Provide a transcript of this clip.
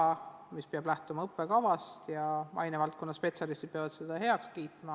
Õppevara peab vaid lähtuma õppekavast ja ainevaldkonna spetsialistid peavad selle heaks kiitma.